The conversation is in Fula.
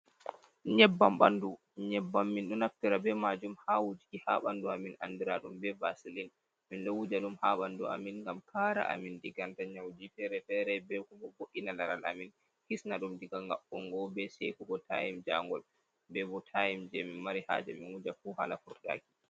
Nyebban ɓandu, nyebban min ɗo naftira be majum ha wujiki ha bandu amin andura dum be vasilin, min ɗo wuja um ha ɓandu amin ngam Kara amin ɗigeta Kara amin daga nyauji fere fere be bo vo’ina laral amin hisna dum diga ga'ungo be sekugo, tayme ja ngol, be bo taym je min mari haje min wuja fu hala furdaki.